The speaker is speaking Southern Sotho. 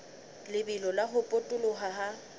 lebelo la ho potoloha ha